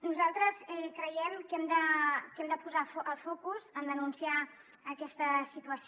nosaltres creiem que hem de posar el focus en denunciar aquesta situació